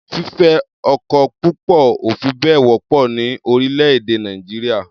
Fífẹ́ ọkọ púpọ̀ ò fi bẹ́ẹ̀ wọ́pọ̀ ní orílẹ̀-èdẹ̀ Nàìjíríà.